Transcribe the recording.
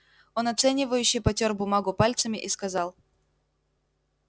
он оценивающе потёр бумагу пальцами и сказал